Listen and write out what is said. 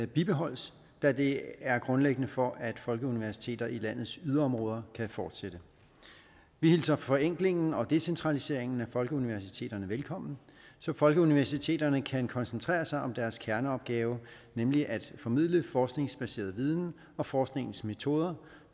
bibeholdes da det er grundlæggende for at folkeuniversiteter i landets yderområder kan fortsætte vi hilser forenklingen og decentraliseringen af folkeuniversiteterne velkommen så folkeuniversiteterne kan koncentrere sig om deres kerneopgave nemlig at formidle forskningsbaseret viden og forskningens metoder